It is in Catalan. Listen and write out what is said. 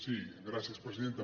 sí gràcies presidenta